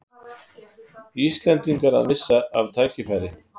Íslendingar að missa af tækifæri